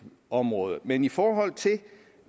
område men i forhold til